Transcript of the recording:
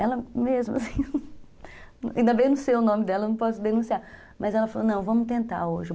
Ela mesmo, assim, ainda bem não sei o nome dela, não posso denunciar, mas ela falou, não, vamos tentar hoje.